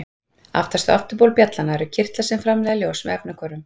Aftast á afturbol bjallanna eru kirtlar sem framleiða ljós með efnahvörfum.